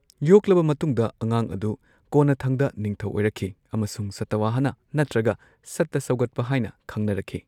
ꯌꯣꯛꯂꯕ ꯃꯇꯨꯡꯗ, ꯑꯉꯥꯡ ꯑꯗꯨ ꯀꯣꯟꯅꯊꯪꯗ ꯅꯤꯡꯊꯧ ꯑꯣꯏꯔꯛꯈꯤ ꯑꯃꯁꯨꯡ ꯁꯥꯇꯋꯥꯍꯅꯥ ꯅꯠꯇ꯭ꯔꯒ ꯁꯥꯇ ꯁꯧꯒꯠꯄ ꯍꯥꯏꯅ ꯈꯪꯅꯔꯛꯈꯤ꯫